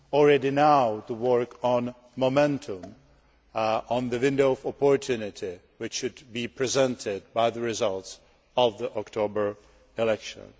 Already now, we should work on momentum on the window of opportunity, which should be presented by the results of the October elections.